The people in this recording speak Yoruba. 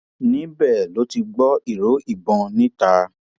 níbẹ ló ti gbọ ìró ìbọn níta